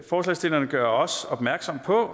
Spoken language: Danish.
forslagsstillerne gør opmærksom på at